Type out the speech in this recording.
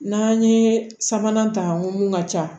N'an ye sabanan ta mun ka ca